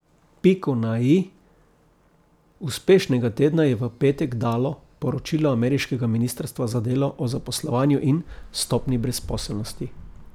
Piko na i uspešnega tedna je v petek dalo poročilo ameriškega ministrstva za delo o zaposlovanju in stopnji brezposelnosti.